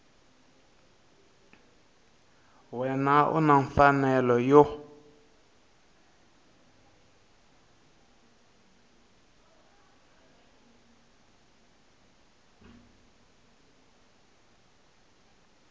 wana u na mfanelo yo